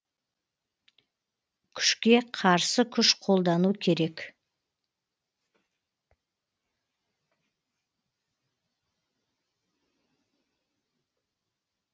күшке қарсы күш қолдану керек